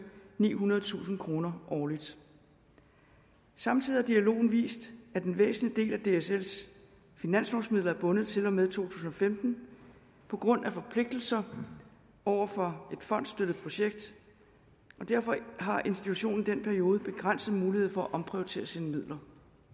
nihundredetusind kroner årligt samtidig har dialogen vist at en væsentlig del af dsls finanslovsmidler er bundet til og med to tusind og femten på grund af forpligtelser over for et fondsstøttet projekt og derfor har institutionen i den periode begrænset mulighed for at omprioritere sine midler